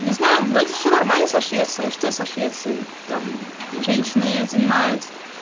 не знаю вроде всё нормально со швецией что со швецией там женщиной занимают